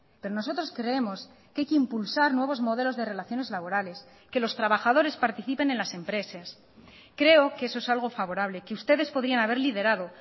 pero nosotros creemos que hay que impulsar nuevos modelos de relaciones laborales que los trabajadores participen en las empresas creo que eso es algo favorable que ustedes podían haber liderado